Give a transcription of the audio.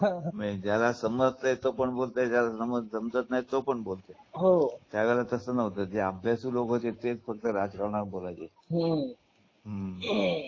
ज्याला समजतं समजतंय तो पण बोलतो जो समजत नाही तो पण बोलतोय हो त्या वेळेला तस नव्हतं लोक होते तेच फक्त राजकारणावर बोलायचे हम्म हम्म